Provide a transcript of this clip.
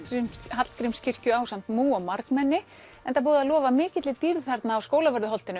Hallgrímskirkju ásamt múg og margmenni enda búið að lofa mikilli dýrð þarna á Skólavörðuholtinu